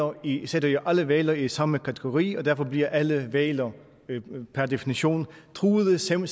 og eu sætter jo alle hvaler i samme kategori og derfor bliver alle hvaler per definition truede selv om